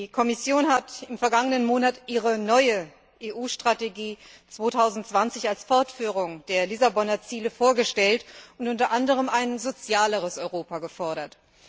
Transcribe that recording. Die Kommission hat im vergangenen Monat ihre neue EU Strategie 2020 als Fortführung der Lissabonner Ziele vorgestellt und unter anderem ein sozialeres Europa gefordert.